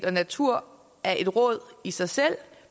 og natur af et råd i sig selv